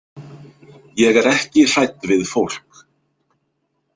Ég er ekki hrædd við fólk.